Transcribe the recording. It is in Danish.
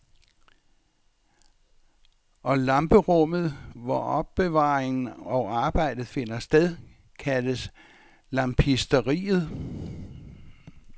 Og lamperummet, hvor opbevaringen og arbejdet finder sted, kaldes lampisteriet.